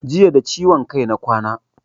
Jiya da ciwon kai na kwana